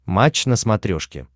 матч на смотрешке